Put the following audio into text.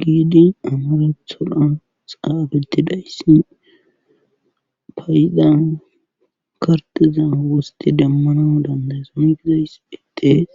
giidi amaretholan xaabeti dayssi faayidan karteza wosti demmana dandaysongizays etees.